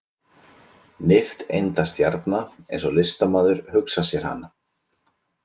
Nifteindastjarna eins og listamaður hugsaði sér hana.